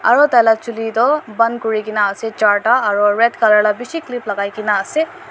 aro tai la chuli toh ban kurina ase charta aro red colour la bishi clip lakai kae na ase.